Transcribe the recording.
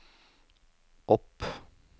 opp